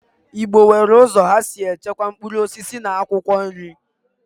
Igbo good nwere uzo ha si echekwa mkpuruosisi na akwokwo nri.